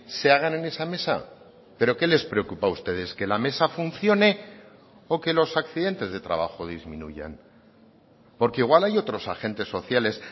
se hagan en esa mesa pero qué les preocupa a ustedes qué la mesa funcione o que los accidentes de trabajo disminuyan porque igual hay otros agentes sociales